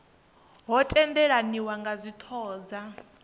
ho tendelaniwa kha dzithoho dza